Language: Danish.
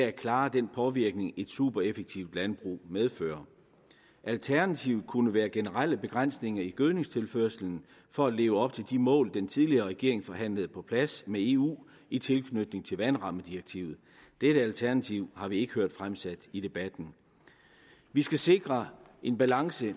at klare den påvirkning et supereffektivt landbrug medfører alternativet kunne være generelle begrænsninger i gødningstilførslen for at leve op til de mål den tidligere regering forhandlede på plads med eu i tilknytning til vandrammedirektivet dette alternativ har vi ikke hørt fremsat i debatten vi skal sikre en balance i